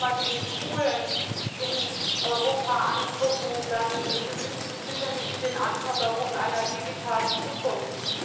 Wenn wir nur einmal die Schulen in Europa anschauen, dann genügen die sicher nicht den Anforderungen einer digitalen Zukunft.